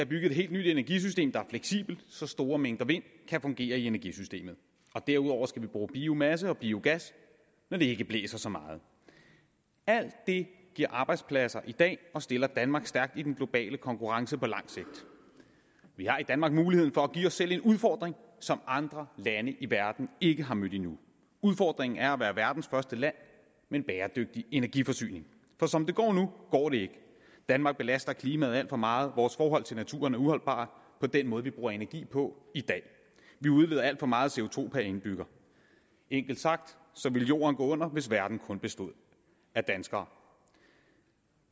bygget et helt nyt energisystem der er fleksibelt så store mængder vind kan fungere i energisystemet og derudover skal vi bruge biomasse og biogas når det ikke blæser så meget alt det giver arbejdspladser i dag og stiller danmark stærkt i den globale konkurrence på lang sigt vi har i danmark muligheden for at give os selv en udfordring som andre lande i verden ikke har mødt endnu udfordringen er at være verdens første land med en bæredygtig energiforsyning for som det går nu går det ikke danmark belaster klimaet alt for meget vores forhold til naturen er uholdbart med den måde vi bruger energi på i dag vi udleder alt for meget co indbygger enkelt sagt ville jorden gå under hvis verden kun bestod af danskere